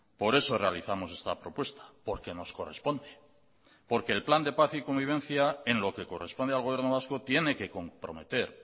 por eso realizamos esta propuesta porque nos corresponde porque el plan de paz y convivencia en lo que corresponde al gobierno vasco tiene que comprometer